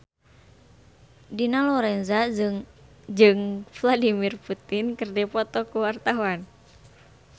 Dina Lorenza jeung Vladimir Putin keur dipoto ku wartawan